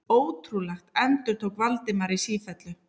Ótrúlegt endurtók Valdimar í sífellu.